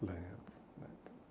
Lembro, lembro.